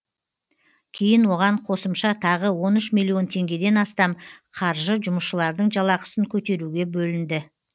кейін оған қосымша тағы он үш миллион теңгеден астам қаржы жұмысшылардың жалақысын көтеруге бөлінді